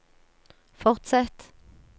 fortsett